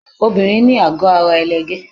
Obìnrin ní àgọ́ ara ẹlẹgẹ́.